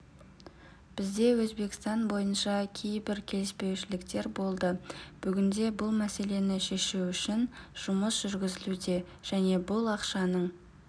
бізде өзбекстан бойынша кейбір келіспеушіліктер болды бүгінде бұл мәселені шешу үшін жұмыс жүргізілуде және бұл ақшаның